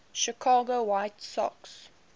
chicago white sox